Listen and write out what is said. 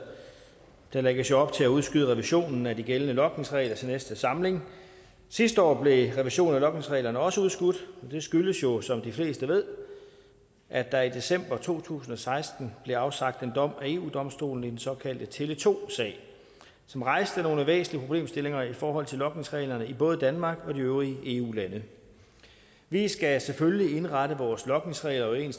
der lægges jo op til at udskyde revisionen af de gældende logningsregler til næste samling sidste år blev revisionen af logningsreglerne også udskudt og det skyldtes jo som de fleste ved at der i december to tusind og seksten blev afsagt en dom ved eu domstolen i den såkaldte tele2 sag som rejste nogle væsentlige problemstillinger i forhold til logningsreglerne i både danmark og de øvrige eu lande vi skal selvfølgelig indrette vores logningsregler i